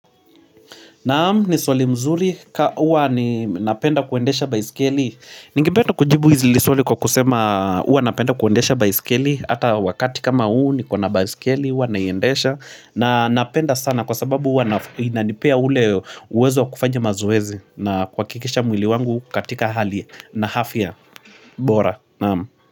Naam, ni swalii mzuri. Huwa ni napenda kuendesha baisikeli. Ningipenda kujibu izi li swali kwa kusema huwa napenda kuendesha baisikeli. Hata wakati kama uu nikona baisikeli. Huwa naiendesha. Na napenda sana kwa sababu huwa inanipea ule uwezo kufanje mazoezi. Na kwa kikisha mwili wangu katika hali na afya bora. Naam.